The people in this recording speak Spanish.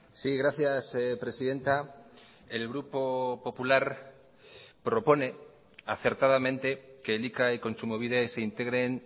sí gracias presidenta el grupo popular propone acertadamente que elika y kontsumobide se integren